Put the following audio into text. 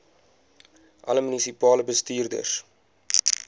alle munisipale bestuurders